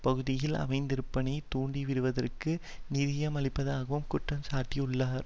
பகுதியில் அமைதியின்மையை தூண்டிவிடுவதற்கு நிதியம் அளிப்பதாகவும் குற்றம் சாட்டியுள்ளார்